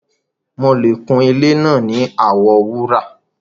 Mọ̀ kún ilẹ̀ náà ní àwọ wúrà